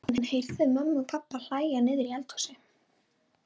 Hún heyrði mömmu og pabba hlæja niðri í eldhúsi.